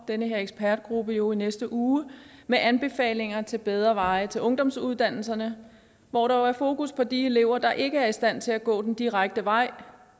den her ekspertgruppe jo i næste uge med anbefalinger til bedre veje til ungdomsuddannelserne hvor der er fokus på de elever der ikke er i stand til at gå den direkte vej